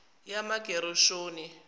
yamagereshoni